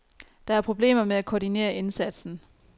Der er problemer med at koordinere indsatsen.